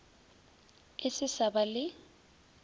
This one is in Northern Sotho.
e se sa ba le